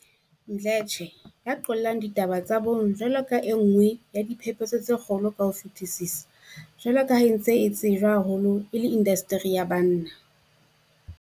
Mdle tshe, ya qollang ditaba tsa bong jwalo ka e nngwe ya diphephetso tse kgolo ka ho fetisisa jwalo ka ha e ntse e tsejwa haholo e le indasteri ya banna.